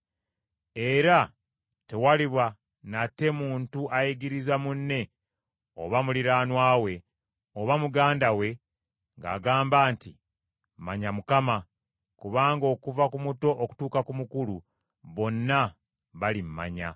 Era tewaliba nate muntu ayigiriza munne oba muliraanwa we, oba muganda we ng’agamba nti, ‘Manya Mukama,’ Kubanga okuva ku muto okutuuka ku mukulu bonna balimmanya.